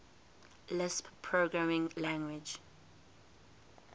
lisp programming language